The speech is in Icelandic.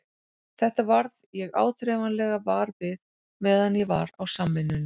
Þetta varð ég áþreifanlega var við meðan ég var á Samvinnunni.